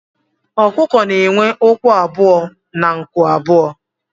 Ọkụkọ na enwe ụkwụ abụọ na nku abụọ